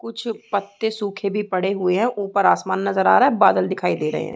कुछ पत्ते सूखे भी पड़े हुए है ऊपर आसमान नज़र आ रहा है बादल दिखाई दे रहे है।